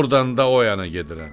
Ordan da o yana gedirəm.